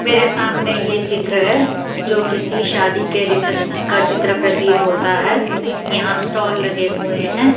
मेरे सामने ये चित्र है जो किसी शादी के रिसेप्शन का चित्र प्रतीत होता है यहां स्टाल लगे हुए हैं।